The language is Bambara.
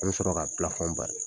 An bɛ sɔrɔ ka bari.